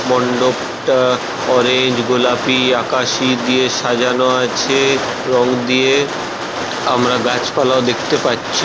মণ্ডপটা orange গোলাপি আকাশি দিয়ে সাজানো আছে রং দিয়ে। আমরা গাছপালাও দেখতে পাচ্ছি।